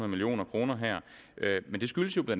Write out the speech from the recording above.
million kroner her men det skyldes jo bla